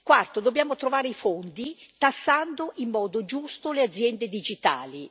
Quarto dobbiamo trovare i fondi, tassando in modo giusto le aziende digitali.